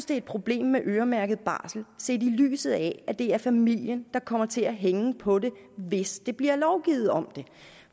det et problem med øremærket barsel set i lyset af at det er familien der kommer til at hænge på det hvis der bliver lovgivet om det